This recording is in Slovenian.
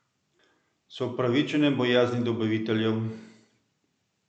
So upravičene bojazni dobaviteljev?